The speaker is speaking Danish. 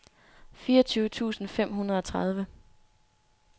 fireogtyve tusind fem hundrede og tredive